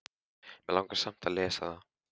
Mig langar samt að lesa það.